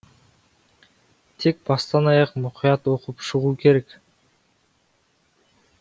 тек бастан аяқ мұқият оқып шығу керек